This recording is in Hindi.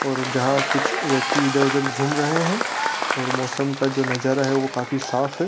और जाहाँ कुछ व्यक्ति घूम रहे है और मौसम का जो नजारा है ओ काफी साफ है।